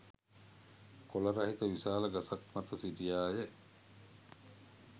කොළ රහිත විශාල ගසක් මත සිටියාය.